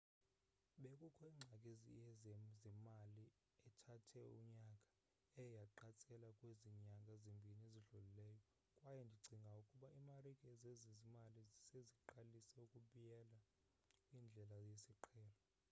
bekukho ingxaki yezezimali ethathe unyaka eye yaqatsela kwezi nyanga zimbini zidlulileyo kwaye ndicinga ukuba iimarike zezezimali seziqalisa ukubyela kwindlela yesiqhelo